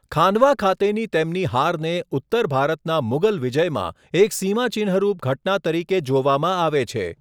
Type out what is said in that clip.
ખાનવા ખાતેની તેમની હારને ઉત્તર ભારતના મુઘલ વિજયમાં એક સીમાચિહ્નરૂપ ઘટના તરીકે જોવામાં આવે છે.